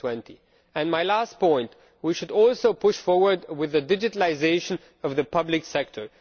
2020. My last point we should also push forward with the digitalisation of the public sector.